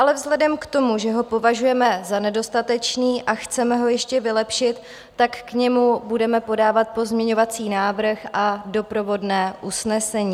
Ale vzhledem k tomu, že ho považujeme za nedostatečný a chceme ho ještě vylepšit, tak k němu budeme podávat pozměňovací návrh a doprovodné usnesení.